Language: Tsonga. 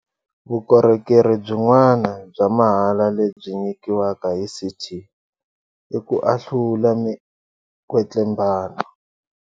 Vukorhokeri byin'wana bya mahala lebyi nyikiwaka hi CT i ku ahlula mi kwetlembano.